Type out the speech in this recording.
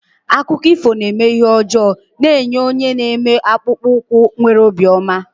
Akụkọ ifo na-eme ihe ọjọọ na-enye onye na-eme akpụkpọ ụkwụ nwere obi ọma.